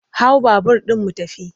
Hau babur ɗin mu tafi!